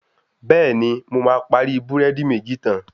Bẹ̀ẹ̀ni, mo máa parí búrẹ́dì méjì tán.